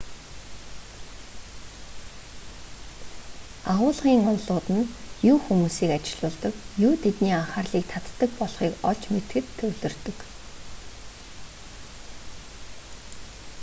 агуулгын онолууд нь юу хүмүүсийг ажиллуулдаг юу тэдний анхаарлыг татдаг болохыг олж мэдэхэд төвлөрдөг